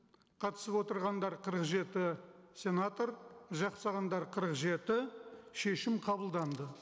қатысып отырғандар қырық жеті сенатор жақтағандар қырық жеті шешім қабылданды